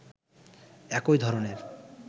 একই ধরনের